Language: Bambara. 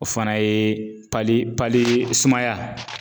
O fana ye sumaya